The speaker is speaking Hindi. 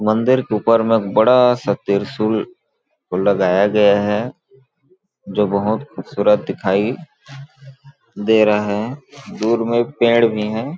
मंदिर के ऊपर में बड़ा सा त्रिशूल लगाया गया है जो बहुत खूबसूरत दिखाई दे रहा है दूर में पेड़ भी है।